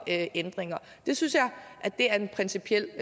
ændringer jeg synes det er en principiel